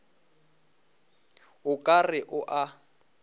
o ka re o a